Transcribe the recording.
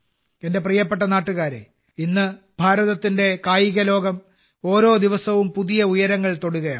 എന്റെ പ്രിയപ്പെട്ട നാട്ടുകാരേ ഇന്ന് ഭാരതത്തിന്റെ കായികലോകം ഓരോ ദിവസവും പുതിയ ഉയരങ്ങൾ തൊടുകയാണ്